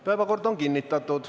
Päevakord on kinnitatud.